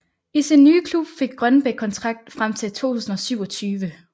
I sin nye klub fik Grønbæk kontrakt frem til 2027